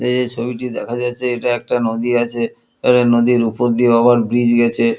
এই যে ছবিটি দেখা যাচ্ছে এটা একটা নদী আছে তবে নদীর ওপরে দিয়েও আাবার ব্রিজ গেছে।